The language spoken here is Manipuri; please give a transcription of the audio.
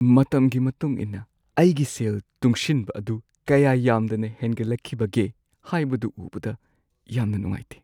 ꯃꯇꯝꯒꯤ ꯃꯇꯨꯡ ꯏꯟꯅ ꯑꯩꯒꯤ ꯁꯦꯜ ꯇꯨꯡꯁꯤꯟꯕ ꯑꯗꯨ ꯀꯌꯥ ꯌꯥꯝꯗꯅ ꯍꯦꯟꯒꯠꯂꯛꯈꯤꯕꯒꯦ ꯍꯥꯏꯕꯗꯨ ꯎꯕꯗ ꯌꯥꯝꯅ ꯅꯨꯡꯉꯥꯏꯇꯦ ꯫